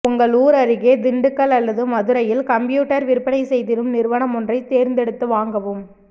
உங்கள் ஊர் அருகே திண்டுக்கல் அல்லது மதுரையில் கம்ப்யூட்டர் விற்பனை செய்திடும் நிறுவனம் ஒன்றைத் தேர்ந்தெடுத்து வாங்கவும்